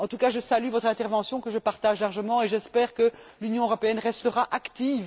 En tout cas, je salue votre intervention, que je partage largement, et j'espère que l'Union européenne restera active.